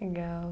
Legal.